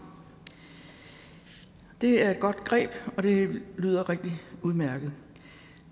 det er et godt greb og det lyder rigtig udmærket